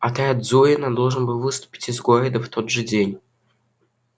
отряд зурина должен был выступить из города в тот же день